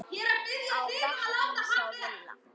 á bekknum hjá Villa.